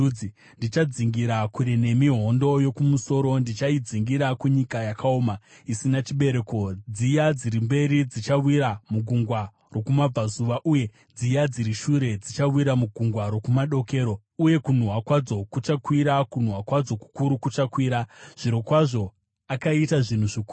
“Ndichadzingira kure nemi hondo yokumusoro, ndichaidzingira kunyika yakaoma isina chibereko, dziya dziri mberi dzichawira mugungwa rokumabvazuva, uye dziya dziri shure dzichawira mugungwa rokumadokero. Uye kunhuhwa kwadzo kuchakwira; kunhuhwa kwadzo kukuru kuchakwira.” Zvirokwazvo akaita zvinhu zvikuru.